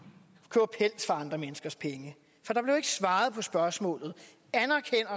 andre menneskers penge for der blev ikke svaret på spørgsmålet anerkender